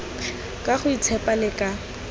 ka go itshepa le ka